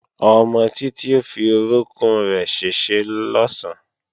Ọmọ Títí ó fi orókún rẹ̀ ṣèṣe lọ̀sán